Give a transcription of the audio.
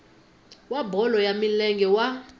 wa bolo ya milenge wa